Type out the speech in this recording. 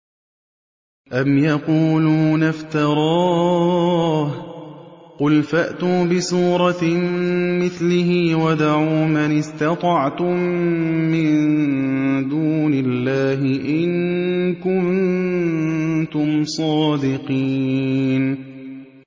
أَمْ يَقُولُونَ افْتَرَاهُ ۖ قُلْ فَأْتُوا بِسُورَةٍ مِّثْلِهِ وَادْعُوا مَنِ اسْتَطَعْتُم مِّن دُونِ اللَّهِ إِن كُنتُمْ صَادِقِينَ